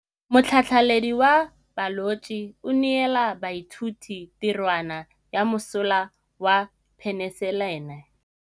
Motlhatlhaledi wa baeloji o neela baithuti tirwana ya mosola wa peniselene.